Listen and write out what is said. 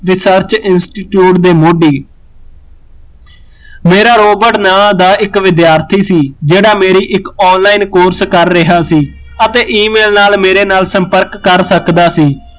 research institute ਦੇ Modi Bera Robert ਨਾ ਦਾ ਇੱਕ ਵਿਦਿਆਰਥੀ ਸੀ ਜਿਹੜਾ ਮੇਰੀ ਇੱਕ online course ਕਰ ਰਿਹਾ ਸੀ ਅਤੇ email ਨਾਲ਼ ਮੇਰੇ ਨਾਲ਼ ਸਪਰਕ ਕਰ ਸਕਦਾ ਸੀ